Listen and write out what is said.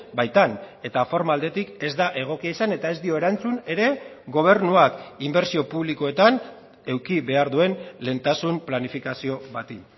baitan eta forma aldetik ez da egokia izan eta ez dio erantzun ere gobernuak inbertsio publikoetan eduki behar duen lehentasun planifikazio bati